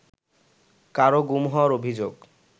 কারও গুম হওয়ার অভিযোগ